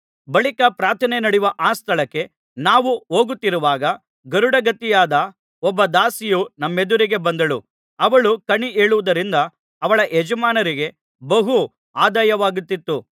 ಬಳಿಕ ಪ್ರಾರ್ಥನೆ ನಡೆಯುವ ಆ ಸ್ಥಳಕ್ಕೆ ನಾವು ಹೋಗುತ್ತಿರುವಾಗ ಗಾರುಡಗಾತಿಯಾದ ಒಬ್ಬ ದಾಸಿಯು ನಮ್ಮೆದುರಿಗೆ ಬಂದಳು ಅವಳು ಕಣಿ ಹೇಳುವುದರಿಂದ ಅವಳ ಯಜಮಾನರಿಗೆ ಬಹು ಆದಾಯವಾಗುತ್ತಿತ್ತು